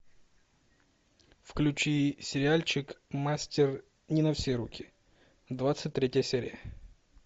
включи сериальчик мастер не на все руки двадцать третья серия